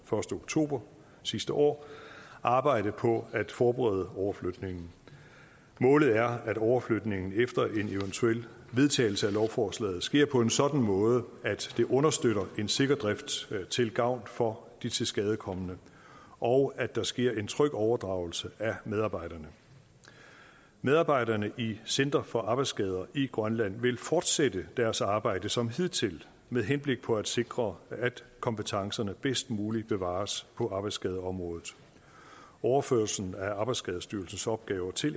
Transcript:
oktober sidste år arbejdet på at forberede overflytningen målet er at overflytningen efter en eventuel vedtagelse af lovforslaget sker på en sådan måde at det understøtter en sikker drift til gavn for de tilskadekomne og at der sker en tryg overdragelse af medarbejderne medarbejderne i center for arbejdsskader i grønland vil fortsætte deres arbejde som hidtil med henblik på at sikre at kompetencerne bedst muligt bevares på arbejdsskadeområdet overførelsen af arbejdsskadestyrelsens opgaver til